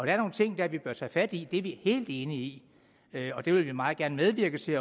er nogle ting dér vi bør tage fat i det er vi helt enige i og det vil vi meget gerne medvirke til